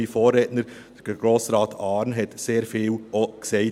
Mein Vorredner, Grossrat Arn, hat dazu auch sehr viel gesagt.